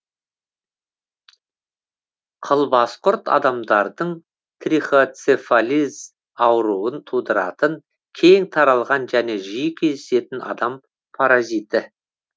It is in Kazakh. қылбасқұрт адамдардың трихоцефалез ауруын тудыратын кең таралған және жиі кездесетін адам паразиті